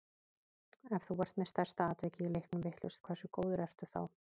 Ef þú ert með stærsta atvikið í leiknum vitlaust, hversu góður ertu þá?